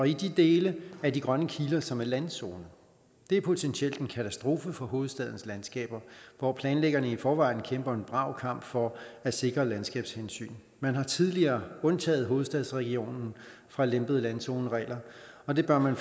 i de dele af de grønne kiler som er landzone det er potentielt en katastrofe for hovedstadens landskaber hvor planlæggerne i forvejen kæmper en brav kamp for at sikre landskabshensyn man har tidligere undtaget hovedstadsregionen fra lempede landzoneregler og det bør man